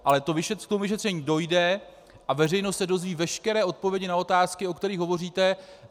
Ale k vyšetření dojde a veřejnost se dozví veškeré odpovědi na otázky, o kterých hovoříte.